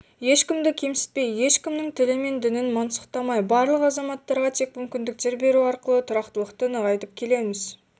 ешкімді кемсітпей ешкімнің тілі мен дінін мансұқтамай барлық азаматтарға тең мүмкіндіктер беру арқылы тұрақтылықты нығайтып келеміз